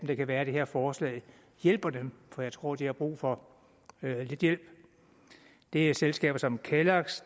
det kan være at det her forslag hjælper dem for jeg tror de har brug for lidt hjælp det er selskaber som kellogs